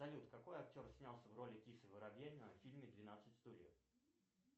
салют какой актер снялся в роли кисы воробьянинова в фильме двенадцать стульев